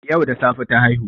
Yau da safe ta haihu